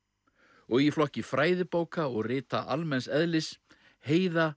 og í flokki fræðibóka og rita almenns eðlis Heiða